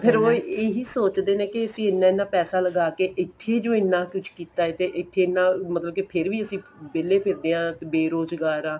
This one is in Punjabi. ਫੇਰ ਉਹ ਇਹੀ ਸੋਚਦੇ ਨੇ ਕੀ ਅਸੀਂ ਇੰਨਾ ਇੰਨਾ ਪੈਸਾ ਲਗਾ ਕੇ ਇੱਥੇ ਈ ਜੋ ਇੰਨਾ ਕੁੱਝ ਕੀਤਾ ਤੇ ਇੱਥੇ ਇੰਨਾ ਮਤਲਬ ਕੀ ਫੇਰ ਵੀ ਅਸੀਂ ਵਿਹਲੇ ਫਿਰਦੇ ਆ ਬੇਰੋਜਗਾਰ ਆ